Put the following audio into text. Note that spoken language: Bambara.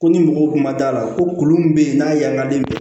Ko ni mɔgɔw kun ma da la kolon min bɛ yen n'a man den minɛ